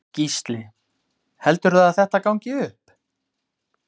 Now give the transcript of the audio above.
Gísli: Heldurðu að þetta gangi upp?